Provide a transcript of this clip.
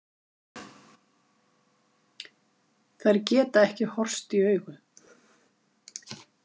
Þær geta ekki horfst í augu.